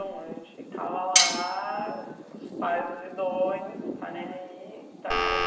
A gente ficava lá, os pais doidões, não está nem aí e tal.